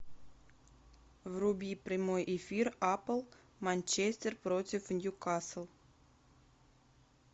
вруби прямой эфир апл манчестер против ньюкасл